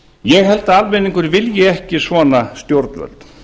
ég held að almenningur vilji ekki svona stjórnvöld